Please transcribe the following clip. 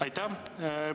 Aitäh!